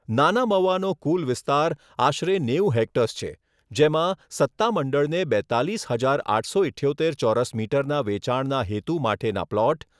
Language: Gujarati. નાના મવાનો કુલ વિસ્તાર આશરે નેવું હેક્ટર્સ છે જેમાં સત્તામંડળને બેત્તાલીસ હજાર આઠસો ઇઠ્યોતેર ચોરસ મીટર ના વેચાણના હેતુ માટેના પ્લોટ